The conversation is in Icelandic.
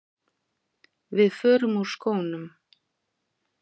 Við förum úr skónum.